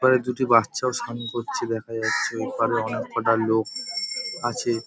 ওপারে দুটি বাচ্চাও স্নান করছে দেখা যাচ্ছে। ওপারে অনেক কটা লোক আছে-এ।